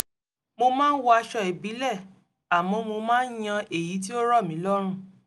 mo máa ń wọ aṣọ ìbílẹ̀ àmọ́ mo máa ń yan èyí tí ó rọ̀ mí lọ́rùn